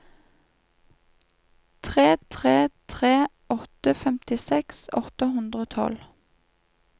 tre tre tre åtte femtiseks åtte hundre og tolv